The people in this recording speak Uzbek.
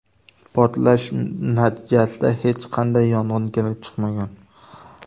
Portlash natijasida hech qanday yong‘in kelib chiqmagan.